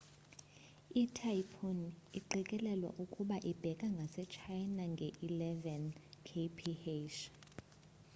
i typhoon iqikelelwa ukuba ibheka ngase china nge eleven kph